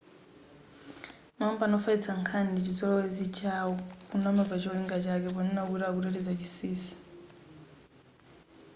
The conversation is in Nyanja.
makampani wofalitsa nkhani ndichizolowezi chawo kunama pa cholinga chake ponena kuti akuteteza chinsinsi